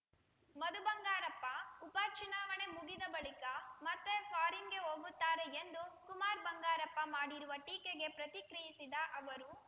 ಮಧು ಬಂಗಾರಪ್ಪ ಉಪ ಚುನಾವಣೆ ಮುಗಿದ ಬಳಿಕ ಮತ್ತೆ ಫಾರಿನ್‌ಗೆ ಹೋಗುತ್ತಾರೆ ಎಂದು ಕುಮಾರ್‌ ಬಂಗಾರಪ್ಪ ಮಾಡಿರುವ ಟೀಕೆಗೆ ಪ್ರತಿಕ್ರಿಯಿಸಿದ ಅವರು